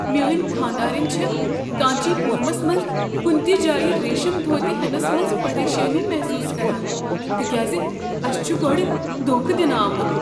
میٲنۍ خانٛدارنۍ چھےٚ کانچی پورمس منٛز کنہ تہ جایہ ریشم دھوٗتہِ ہیننس منز پریشانی محصوص كران تکیاز اسہ چھ گۄڈٕ دھوکہ دنہٕ آمٖت۔